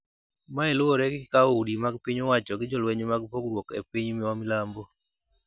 Mae luwore gi kawo udi mag piny owacho gi jolweny mag pogruok e piny ma milambo.